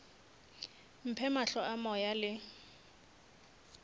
mphe mahlo a moya le